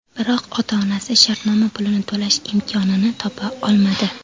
Biroq ota-onasi shartnoma pulini to‘lash imkonini topa olmadi.